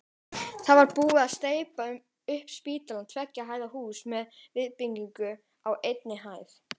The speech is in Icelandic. Það var búið að steypa upp spítalann, tveggja hæða hús með viðbyggingu á einni hæð.